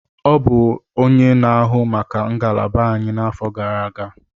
Ọ bụ onye na-ahụ maka ngalaba anyị n'afọ gara aga.